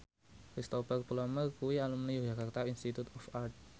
Cristhoper Plumer kuwi alumni Yogyakarta Institute of Art